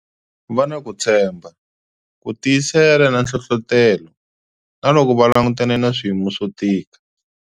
Va na ku tshembha, ku tiyisela na nhlohlotelo, na loko va langutane na swiyimo swo tika.